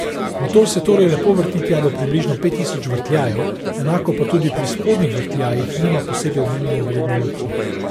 Motor se torej lepo vrti tja do približno pet tisoč vrtljajev, enako pa tudi pri spodnjih vrtljajih nima posebej omembe vredne luknje.